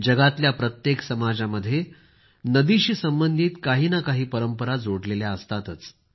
दुनियेतल्या प्रत्येक समाजामध्ये नदीशी संबंधित काही ना काहीतरी परंपरा असतातच